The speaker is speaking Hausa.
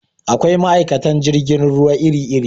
Akwai ma'aikatan jirgin ruwa iri iri